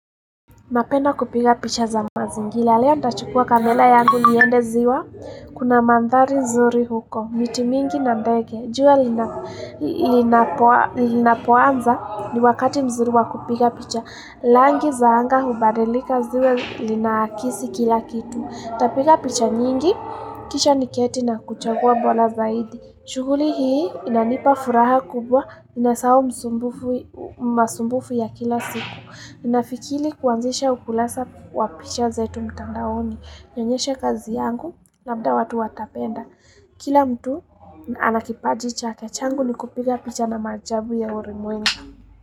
Napenda kupiga picha za mazingila. Leo ndachukua kamela yangu niende ziwa. Kuna mandhari zuri huko. Miti mingi na ndege. Jua linapoanza ni wakati mzuri wa kupiga picha. Langi za anga hubadilika ziwe linakisi kila kitu. Tapiga picha nyingi. Kisha niketi na kuchagua bola zaidi. Shughuli hii inanipa furaha kubwa. Nasau masumbufu ya kila siku. Ninafikili kuanzisha ukulasa wa picha zetu mtandaoni nionyeshe kazi yangu labda watu watapenda Kila mtu anakipaji chake changu ni kupiga picha na maajabu ya urimwengu.